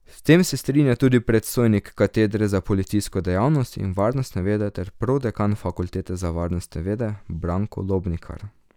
S tem se strinja tudi predstojnik katedre za policijsko dejavnost in varnostne vede ter prodekan fakultete za varnostne vede Branko Lobnikar.